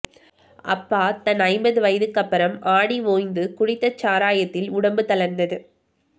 அப்பா தன் ஐம்பது வயதுக்கப்புறம் ஆடி ஓய்ந்து குடித்த சாராயத்தில் உடம்பு தளர்ந்து